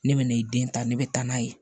Ne bɛ n'i den ta ne bɛ taa n'a ye